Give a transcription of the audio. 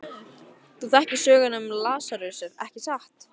Þú þekkir söguna um Lasarus, ekki satt?